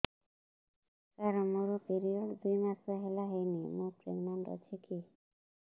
ସାର ମୋର ପିରୀଅଡ଼ସ ଦୁଇ ମାସ ହେଲା ହେଇନି ମୁ ପ୍ରେଗନାଂଟ ଅଛି କି